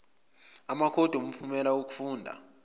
amakhodi omphumela wokufunda